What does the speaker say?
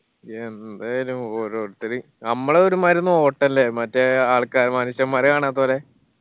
എന്ത് അല്ലെ ഓരോരുത്തര് നമ്മള ഒരു മായിരി നോട്ടല്ലേ മറ്റേ ആൾക്കാരെ മനുഷ്യന്മാരെ കാണാത്തെ പോലെ